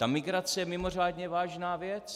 Ta migrace je mimořádně vážná věc.